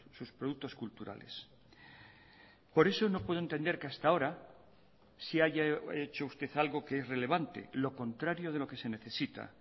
sus productos culturales por eso no puedo entender que hasta ahora sí haya hecho usted algo que es relevante lo contrario de lo que se necesita